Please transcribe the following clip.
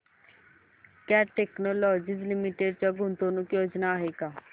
cat Technologies Limited च्या गुंतवणूक योजना आहेत का